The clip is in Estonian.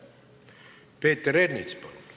Peeter Ernits, palun!